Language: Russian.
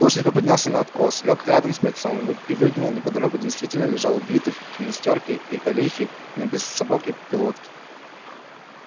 плужников поднялся на откос лёг рядом с бойцом и выглянул неподалёку действительно лежал убитый в гимнастёрке и галифе но без сапог и пилотки